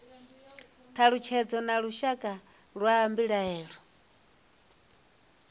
thalutshedzo na lushaka lwa mbilaelo